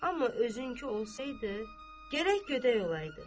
Amma özünkü olsaydı, gərək gödək olaydı.